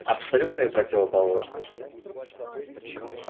абсолютные противоположности